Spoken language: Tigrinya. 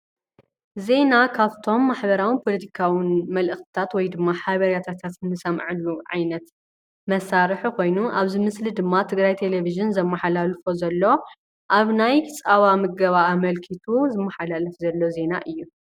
ዜና ካብቶም ማሕበራዊን ፖለቲካውን መልእክትታት ወይ ድማ ሓበሬታታት እንሰምዓሉ ዓይነት መሳርሒ ኮይኑ ኣብዚ ምስሊ ድማ ትግራይ ቴለቭዥን ዘመሓላልፎ ዘሎ ኣብ ናይ ፀባ ምገባ ኣመልኪቱ ዝመሓላለፍ ዘሎ ዜና እዩ ።